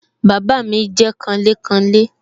Bàbá mi jẹ́ kanlékanlé